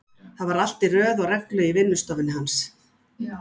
Þá var allt í röð og reglu í vinnustofunni hans.